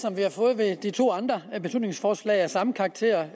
som vi har fået ved de to andre beslutningsforslag af samme karakter